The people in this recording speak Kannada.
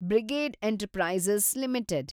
brigade Enterprises limited